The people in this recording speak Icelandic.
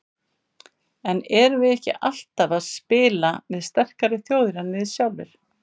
En erum við ekki alltaf að spila við sterkari þjóðir en við sjálfir?